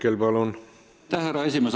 Aitäh, härra esimees!